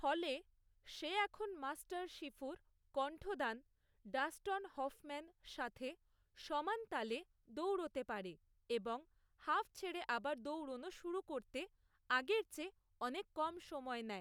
ফলে সে এখন মাস্টার শিফুর কণ্ঠদান ডাস্টন হফম্যান সাথে সমানতালে দৌড়তে পারে এবং হাঁফ ছেড়ে আবার দৌড়নো শুরু করতে আগের চেয়ে অনেক কম সময় নেয়।